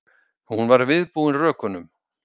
Hún var viðbúin rökunum.